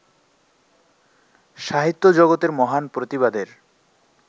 সাহিত্যজগতের মহান প্রতিভাদের